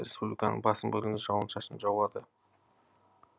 республиканың басым бөлігінде жауын шашын жауады